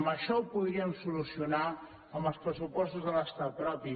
amb això ho podríem solucionar amb els pressupostos de l’estat propi